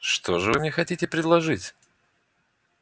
что же вы мне хотите предложить